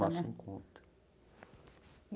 Tomassem conta.